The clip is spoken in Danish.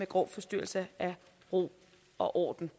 grov forstyrrelse af ro og orden